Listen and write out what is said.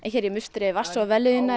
hér í musteri vatns og vellíðunar